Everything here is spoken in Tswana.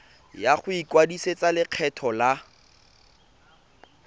ya go ikwadisetsa lekgetho la